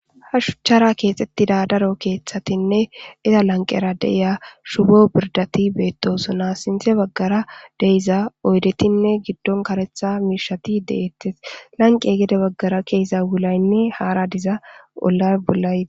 Ha shuchchara keeththetida daro keththatine,iza lanqera de'iza shubo birdatti betossona. Sinththe baggara de'iza oydetine giddon kareththa miishshati de'etes. Lnaqe gede baggara ke'iza wulaynee haara diza wula bolla...